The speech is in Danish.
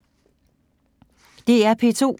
DR P2